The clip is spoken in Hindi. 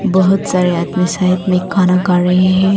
बहुत सारे आदमी साइड में खाना खा रहे हैं।